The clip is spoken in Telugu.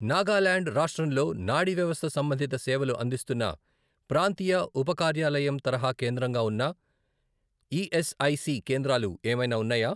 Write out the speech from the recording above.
నాగాల్యాండ్ రాష్ట్రంలో నాడీ వ్యవస్థ సంబంధిత సేవలు అందిస్తున్న ప్రాంతీయ ఉపకార్యాలయం తరహా కేంద్రంగా ఉన్న ఈఎస్ఐసి కేంద్రాలు ఏమైనా ఉన్నాయా?